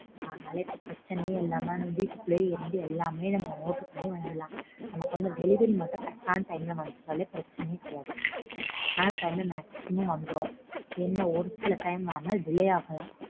அதுனால இப்போ பிரச்சனையே இல்லாம வீட்டுகுள்ளையே இருந்து எல்லாமே நம்ம order பண்ணி வாங்கிரலாம். நமக்கு delivery மட்டும் correct ஆன time க்கு வந்துசுனாலே பிரச்சனையே கிடையாது. Correct ஆன time க்கு maximum வந்துரும். என்ன ஒரு சில time வேணா delay ஆகலாம்.